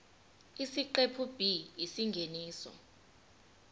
isiqephu b isingeniso